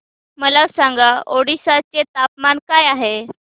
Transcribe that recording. मला सांगा ओडिशा चे तापमान काय आहे